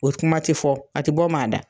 O kuma tɛ fɔ a tɛ bɔ maa da.